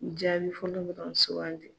Jaabi fɔlɔ be ka sukanti.